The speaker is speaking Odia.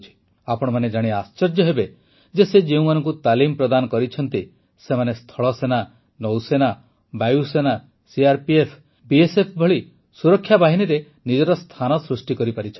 ଆପଣମାନେ ଜାଣି ଆଶ୍ଚର୍ଯ୍ୟ ହେବେ ଯେ ସେ ଯେଉଁମାନଙ୍କୁ ତାଲିମ ପ୍ରଦାନ କରିଛନ୍ତି ସେମାନେ ସ୍ଥଳସେନା ନୌସେନା ବାୟୁସେନା ସିଆର୍ପିଏଫ୍ ବିଏସ୍ଏଫ୍ ଭଳି ସୁରକ୍ଷା ବାହିନୀରେ ନିଜର ସ୍ଥାନ ସୃଷ୍ଟି କରିପାରିଛନ୍ତି